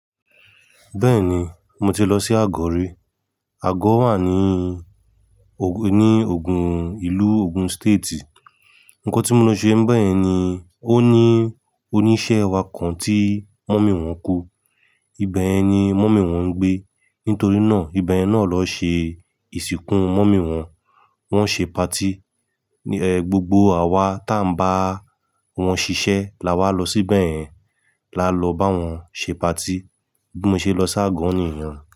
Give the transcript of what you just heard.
Bẹ́ẹ̀ni, mo ti lọ sí Àgọ̀ rí. Àgọ̀ wà ní o- ní Ògùn, ìlú Ògùn State. Ǹkan tí mo lọ ṣe n bẹ́yen ni, ó ní oníṣẹ́ wa kan tí mọ́mì wọ́n kú. Ibẹ̀ ni mọ́mì wọ́n ń gbé. Nítorí náà, ibẹ̀yen náà ló ṣe ìsìnkú mọ́mì wọ́n. Wọn ṣe patí, ẹ́, gbogbo àwa ta ń bá wọn ṣiṣẹ́ la wá lọ síbẹ̀ yẹn la lọ bá wọn ṣe patí. Bí mo ṣe lọ sí Àgọ̀ níyen o.